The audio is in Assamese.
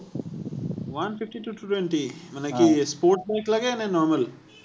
one fifty to two twenty? মানে কি sports bike লাগে নে normal?